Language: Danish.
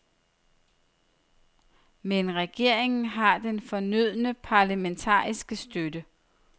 Men regeringen har den fornødne parlamentariske støtte.